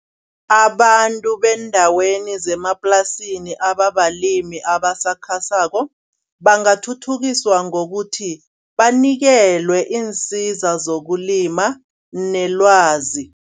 Abantu beendaweni zemaplasini ababalimi abasakhasako bangathuthukiswa ngokuthi banikelwe iinsiza zokulima nelwazi.